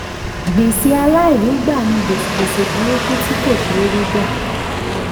gbèsè àìlèrígbà ni gbèsè burúkú tí kò ṣé gbà.